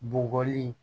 Bɔgɔli